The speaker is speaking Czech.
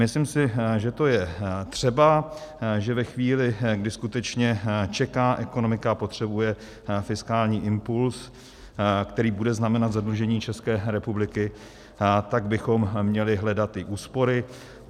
Myslím si, že to je třeba, že ve chvíli, kdy skutečně čeká ekonomika a potřebuje fiskální impuls, který bude znamenat zadlužení České republiky, tak bychom měli hledat i úspory.